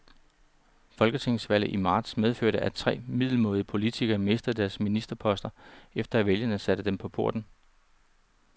Folketingsvalget i marts medførte, at tre middelmådige politikere mistede deres ministerposter, efter at vælgerne satte dem på porten.